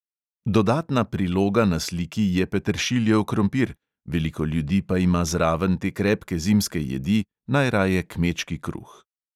Dodatna priloga na sliki je peteršiljev krompir, veliko ljudi pa ima zraven te krepke zimske jedi, najraje kmečki kruh.